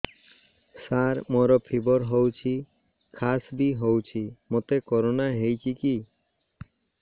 ସାର ମୋର ଫିବର ହଉଚି ଖାସ ବି ହଉଚି ମୋତେ କରୋନା ହେଇଚି କି